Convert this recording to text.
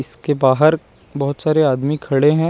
इसके बाहर बहोत सारे आदमी खड़े हैं।